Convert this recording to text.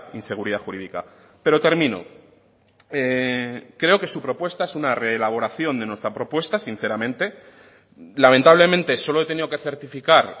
inseguridad jurídica pero termino creo que su propuesta es una reelaboración de nuestra propuesta sinceramente lamentablemente solo he tenido que certificar